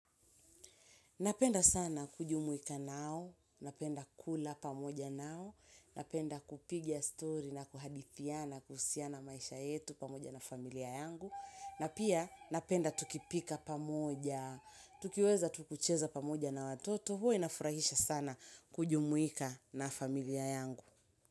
Napenda sana kujumuika nao, napenda kula pamoja nao, napenda kupiga story na kuhadithiana kuhusiana maisha yetu pamoja na familia yangu. Na pia napenda tukipika pamoja, tukiweza tu kucheza pamoja na watoto, hua inafurahisha sana kujumuika na familia yangu.